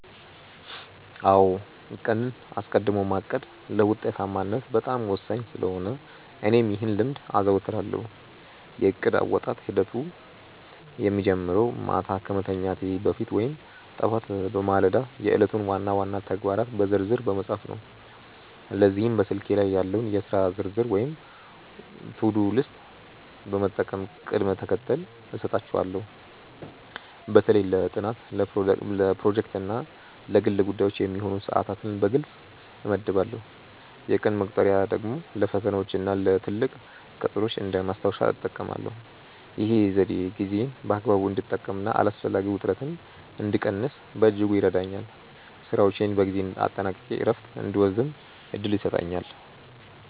አዎ ቀንን አስቀድሞ ማቀድ ለውጤታማነት በጣም ወሳኝ ስለሆነ እኔም ይህን ልምድ አዘወትራለሁ። የእቅድ አወጣጥ ሂደቴ የሚጀምረው ማታ ከመተኛቴ በፊት ወይም ጠዋት በማለዳ የዕለቱን ዋና ዋና ተግባራት በዝርዝር በመጻፍ ነው። ለዚህም በስልኬ ላይ ያለውን የሥራ ዝርዝር ወይም ቱዱ ሊስት በመጠቀም ቅደም ተከተል እሰጣቸዋለሁ። በተለይ ለጥናት፣ ለፕሮጀክቶች እና ለግል ጉዳዮች የሚሆኑ ሰዓታትን በግልጽ እመድባለሁ። የቀን መቁጠሪያ ደግሞ ለፈተናዎችና ለትልቅ ቀጠሮዎች እንደ ማስታወሻ እጠቀማለሁ። ይህ ዘዴ ጊዜዬን በአግባቡ እንድጠቀምና አላስፈላጊ ውጥረትን እንድቀንስ በእጅጉ ይረዳኛል። ስራዎቼን በጊዜ አጠናቅቄ እረፍት እንድወስድም እድል ይሰጠኛል።